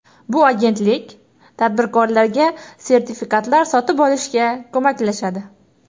Bu agentlik tadbirkorlarga sertifikatlar sotib olishga ko‘maklashadi.